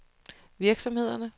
virksomhederne